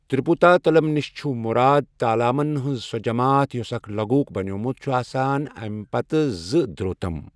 تریپوتا تلم نِش چھ مُراد تالامَن ہُنٛز سۄ جماعت یُس اکھ لغوُک بنیومُت چھُ آسان، امہِ پتہٕ زٕ دھروتم۔